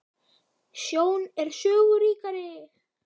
Sjón er sögu ríkari!